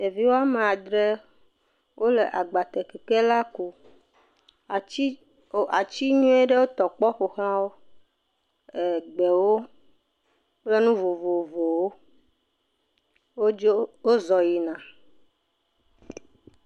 Ɖevi wo ame adre wole agbatekekela kum. Atsi, o atsi nyuie ɖewo tɔ kpɔ ƒo ʋlãwo. ɛɛ gbewo kple nu vovovowo wodzo. Wozɔ yina